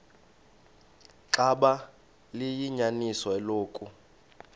xaba liyinyaniso eloku